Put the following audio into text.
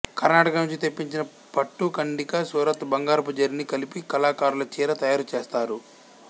కర్ణాటక నుంచి తెప్పించిన పట్టు కండీకి సూరత్ బంగారపు జరీని కలిపి కళాకారులు చీర తయారు చేస్తారు